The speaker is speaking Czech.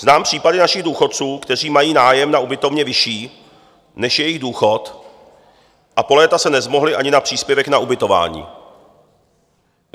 Znám případy našich důchodců, kteří mají nájem na ubytovně vyšší, než je jejich důchod, a po léta se nezmohli ani na příspěvek na ubytování.